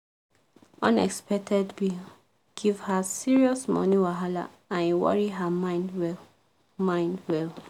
unexpected bill give her serious money wahala and e worry her mind well. mind well.